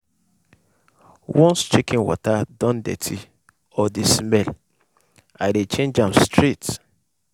once chicken water don dirty or dey smell i dey change am straight.